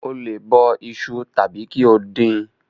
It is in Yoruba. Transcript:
O lè bọ iṣu tàbí kí o dín in.